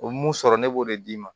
O mun sɔrɔ ne b'o de d'i ma